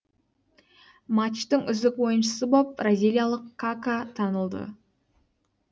матчтың үздік ойыншысы боп бразилиялық кака танылды